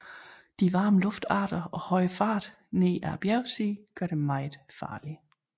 De varme luftarter og høje fart ned ad bjergsiden gør dem meget farlige